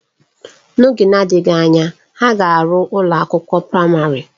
N'oge na-adịghị anya, ha ga-arụ ụlọ akwụkwọ praịmarị